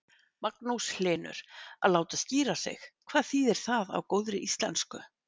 Magnús Hlynur: Að láta skíra sig, hvað þýðir það á góðri íslensku?